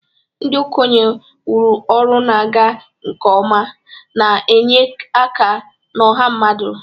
Ndị okenye wuru ọrụ na-aga nke ọma, na-enye aka na ọha mmadụ.